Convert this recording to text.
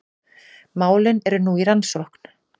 Málin eru nú í rannsókn